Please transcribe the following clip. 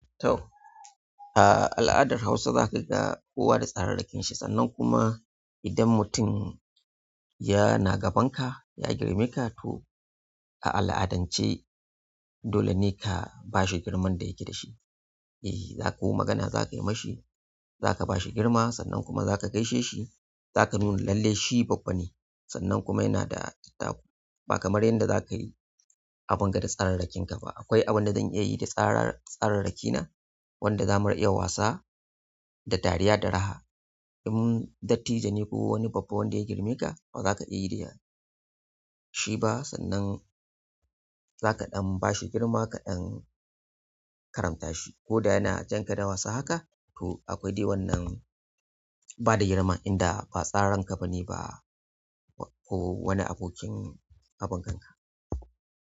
Toh ah a aladar Hausa zakaga kowa da tsararrakinsa sannan kuma idan mutum yana gabanka ya girmeka toh a al'adance dole neh ka bashi girman da yake dashi. Eh, za ko magana za ka yi ma shi, za ka ba shi girma sannan kuma za ka gaishe shi, za ka nuna lalle shi babba ne sannan kuma yana da dattaku ba kamar yadda za ka yi abun ga da tsararrakin ka ba. Akwai abin da zan iya yi da tsararraki na wanda za mu riƙa wasa da dariya da raha. In dattijo neh ko wani babba wanda ya girme ka, ba za ka iya yi da shi ba sannan za kaɗan ba shi girma kaɗan karamta shi. Ko da yana jan ka da wasa haka to akwai dai wannan ba da girma inda ba tsararanka ba ne ba ko wani abokin wasan ka.